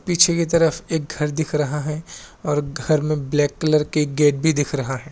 पीछे की तरफ एक घर दिख रहा है और घर में ब्लैक कलर की गेट भी दिख रहा है।